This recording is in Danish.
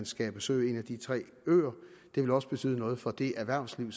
skal besøge en af de tre øer det vil også betyde noget for det erhvervsliv